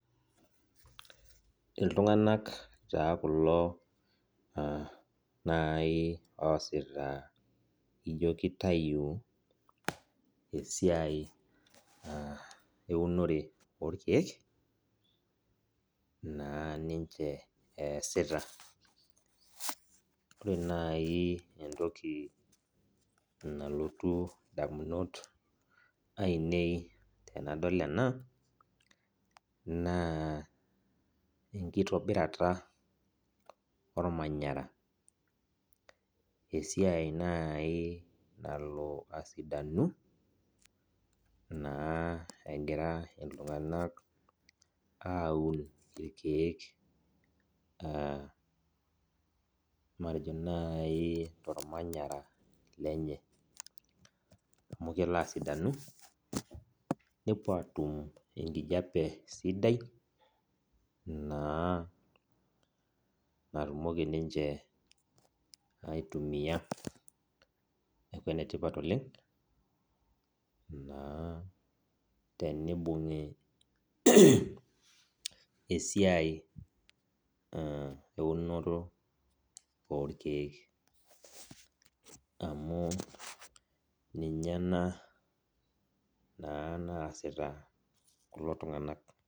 Iltung'anak taa kulo nai oosita ijo kitayu esiai eunore orkeek, naa ninche eesita. Ore nai entoki nalotu indamunot ainei tenadol ena, naa enkitobirata ormanyara. Esiai nai nalo asidanu, naa egira iltung'anak aun irkeek, matejo nai tormanyara lenye. Amu kelo asidanu, nepuo atum enkijape sidai, naa natumoki ninche aitumia. Neeku enetipat oleng, naa tenibung'i esiai eunoto orkeek. Amu ninye ena, naa naasita kulo tung'anak.